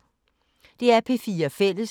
DR P4 Fælles